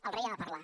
el rei ha de parlar